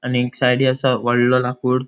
आणिक साइडी आसा वॉडलों लांकुड़.